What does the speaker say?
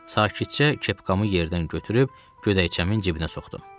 Sakitcə kepkamı yerdən götürüb, ködəkçəmin cibinə soxdum.